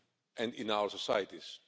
and in our societies.